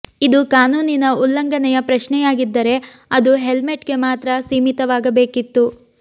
ಇದು ಕಾನೂನಿನ ಉಲ್ಲಂಘನೆಯ ಪ್ರಶ್ನೆಯಾಗಿದ್ದರೆ ಅದು ಹೆಲ್ಮೆಟ್ ಗೆ ಮಾತ್ರ ಸೀಮಿತವಾಗಬೇಕಿತ್ತು